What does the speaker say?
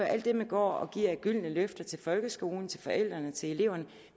alt det man går og giver af gyldne løfter til folkeskolen til forældrene til eleverne